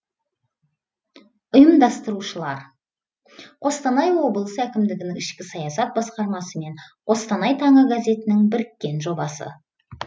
ұйымдастырушылар қостанай облысы әкімдігінің ішкі саясат басқармасы мен қостанай таңы газетінің біріккен жобасы